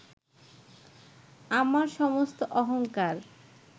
আমার সমস্ত অহংকার